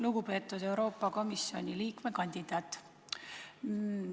Lugupeetud Euroopa Komisjoni liikme kandidaat!